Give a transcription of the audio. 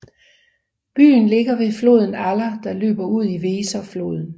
Byen ligger ved floden Aller der løber ud i Weserfloden